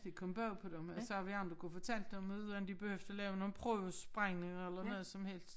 Det kom bag på dem og så havde vi andre kunne fortalt dem uden de behøvede at lave nogen prøvesprængninger eller noget som helst